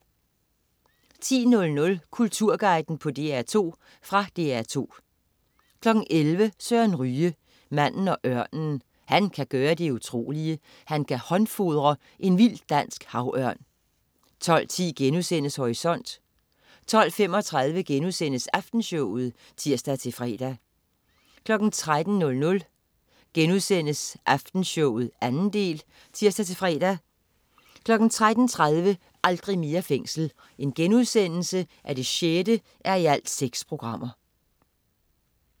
10.00 Kulturguiden på DR2. Fra DR2 11.00 Søren Ryge. Manden og ørnen. Han kan gøre det utrolige: han kan håndfodre en vild dansk havørn 12.10 Horisont* 12.35 Aftenshowet* (tirs-fre) 13.00 Aftenshowet 2. del* (tirs-fre) 13.30 Aldrig mere fængsel 6:6*